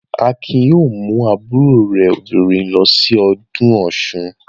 Akin yóò mú àbúrò rẹ̀ obìnrin lọ sí ọdún Ọ̀ṣun.